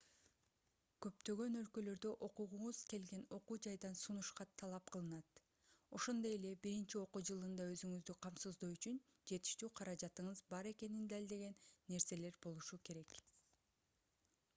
көптөгөн өлкөлөрдө окугуңуз келген окуу жайдан сунуш кат талап кылынат ошондой эле биринчи окуу жылында өзүңүздү камсыздоо үчүн жетиштүү каражатыңыз бар экенин далилдеген нерселер болушу керек